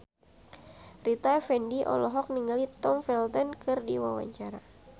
Rita Effendy olohok ningali Tom Felton keur diwawancara